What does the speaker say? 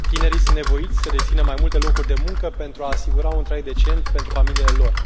Tinerii sunt nevoiți să dețină mai multe locuri de muncă pentru a asigura un trai decent pentru familiile lor.